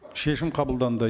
шешім қабылданды